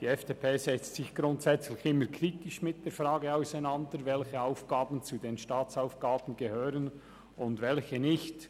Die FDP setzt sich grundsätzlich immer kritisch mit der Frage auseinander, welche Aufgaben zu den Staatsaufgaben gehören und welche nicht.